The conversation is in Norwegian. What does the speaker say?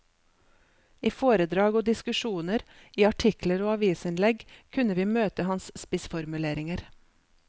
I foredrag og diskusjoner, i artikler og avisinnlegg kunne vi møte hans spissformuleringer.